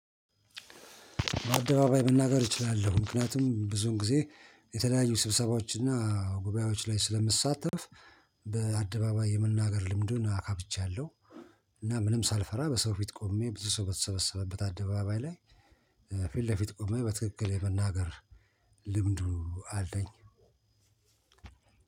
አደባባይ መናገር እችላለሁ ምክንያቱም ብዙን ጊዜ የተለያዩ ስብሰባዎች እና ጉባኤዎች ላይ ስለምትሳተፍ በአደባባይ የመናገር ልምዱን አካብቻለሁ። እና ምንም ሳልፈራ በሰው ፊት ቆሜ ብዙ ሰው በተሰበሰበበት አደባባይ ላይ ፊት ለፊት ቆሜ በትክክል የመናገር ልምዱ አለኝ።